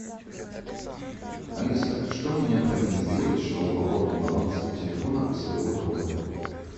алиса что мне необходимо сделать чтобы пополнить баланс телефона своего друга